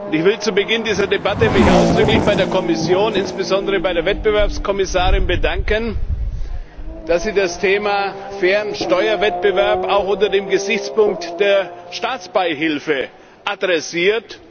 Ich will mich zu Beginn dieser Debatte ausdrücklich bei der Kommission, insbesondere bei der Wettbewerbskommissarin, dafür bedanken, dass sie das Thema fairer Steuerwettbewerb auch unter dem Gesichtspunkt der Staatsbeihilfe adressiert.